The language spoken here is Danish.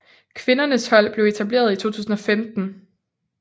Kvindernes hold blev etableret i 2015